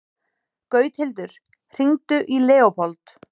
Gauthildur, hringdu í Leópold.